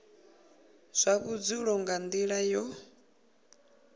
zwa vhudzulo nga nila yo